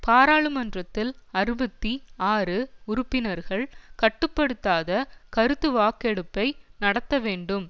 பாராளுமன்றத்தில் அறுபத்தி ஆறு உறுப்பினர்கள் கட்டுப்படுத்தாத கருத்துவாக்கெடுப்பை நடத்தவேண்டும்